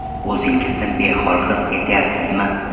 O‘zingizni behol his etyapsizmi?